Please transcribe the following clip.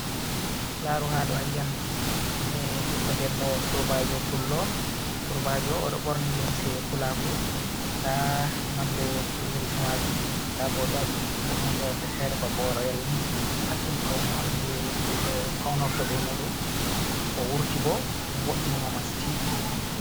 Laru hado a yi an ɓiɗɗo debbo surbajo odo borni limse pulaku da nonde pl limse majum da bo do wadi hunde wonde fere babo royal ni pat dum pauna on je faunorto be mudum o wurti bo vo’ini mo mastin.